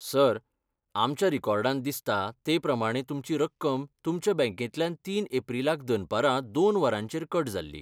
Sir, आमच्या रेकॉर्डांत दिसता ते प्रमाणें तुमची रक्कम तुमच्या बँकेंतल्यान तीन एप्रीलाक दनपरां दोन वरांचेर कट जाल्ली.